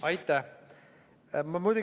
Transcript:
Aitäh!